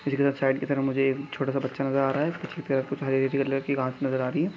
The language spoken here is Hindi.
कि तरह मुझे एक छोटा सा बच्चा नजर आ रह है नजर आ रही है।